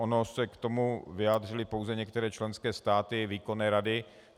Ony se k tomu vyjádřily pouze některé členské státy výkonné rady.